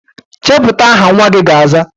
Chepụta aha nnwa gị ga-aza!